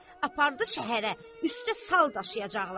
Apardı şəhərə, üstdə sal daşıyacaqlar.